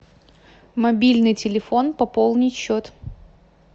мобильный телефон пополнить счет